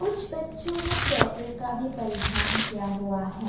कुछ बच्चो ने स्वेटर का भी परिधान किया हुआ है।